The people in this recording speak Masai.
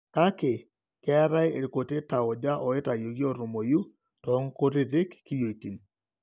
Kake, keetae irkuti tauja oitayioki ootumoyu toonkutiti kiyioitin.